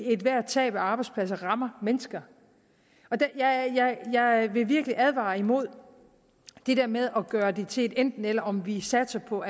ethvert tab af arbejdspladser rammer mennesker jeg vil virkelig advare imod det der med at gøre det til et enten eller om vi satser på